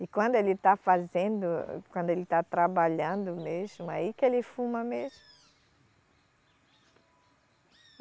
E quando ele está fazendo, quando ele está trabalhando mesmo, aí que ele fuma mesmo.